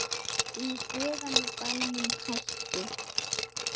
Í guðanna bænum hættu